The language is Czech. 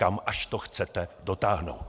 Kam až do chcete dotáhnout?!